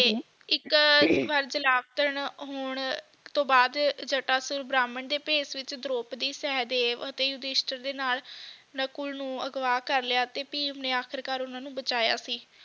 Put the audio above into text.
ਇੱਕ ਵਾਰ ਜਲਾਬਤਨ ਹੋਣ ਤੋਂ ਬਾਅਦ ਜਟਾਸੁਰ ਬ੍ਰਾਹਮਣ ਦੇ ਭੇਸ ਵਿੱਚ ਦਰੋਪਦੀ ਸਹਿਦੇਵ ਤੇ ਯੁਧਿਸ਼ਟਰ ਦੇ ਨਾਲ ਨਕੁਲ ਨੂੰ ਅਗਵਾਹ ਕਰ ਲਿਆ ਤੇ ਭੀਮ ਨੇ ਅਖੀਰਕਰ ਉਨ੍ਹਾਂ ਨੂੰ ਬਚਾਇਆ ਸੀ